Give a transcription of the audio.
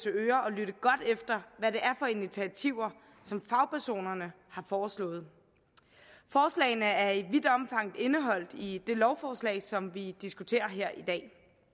ører og lytte godt efter hvad det er for initiativer som fagpersonerne har foreslået forslagene er i vidt omfang indeholdt i det lovforslag som vi diskuterer her i dag